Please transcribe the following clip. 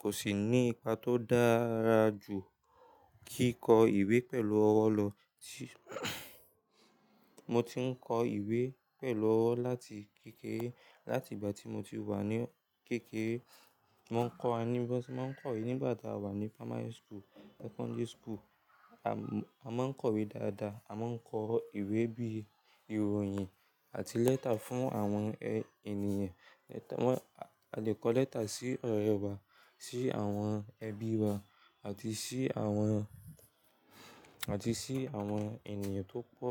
Kò sì ní ipa tó dára jù kíkọ ìwé pẹ̀lú ọwọ́ lọ. Mo ti ń kọ ìwé pẹ̀lú ọwọ́ láti kékeré. Láti ìgbà tí mo ti wà ní kékeré, wọ́n kọ́ wa ní bo se mon kowe nigba ta wá ní primary school, secondary school. A máa ń kọ̀wé dáadáa, a máa ń kọ ìwé bí i ìròyìn àti lẹ́tà fún àwọn ènìyàn. A lè kọ lẹ́tà sí ọ̀rẹ́ wa, sí àwọn ẹbí wa àti sí àwọn ènìyàn tó pọ̀.